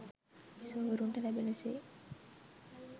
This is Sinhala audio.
බිසෝවරුන්ට ලැබෙන සේ